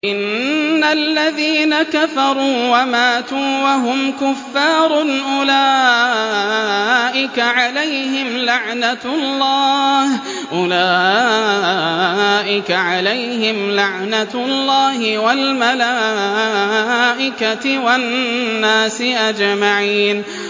إِنَّ الَّذِينَ كَفَرُوا وَمَاتُوا وَهُمْ كُفَّارٌ أُولَٰئِكَ عَلَيْهِمْ لَعْنَةُ اللَّهِ وَالْمَلَائِكَةِ وَالنَّاسِ أَجْمَعِينَ